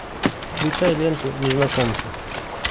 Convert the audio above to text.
включай ленту незнакомцы